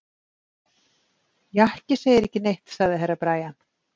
Jakki segir ekki neitt, sagði Herra Brian.